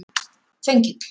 Þengill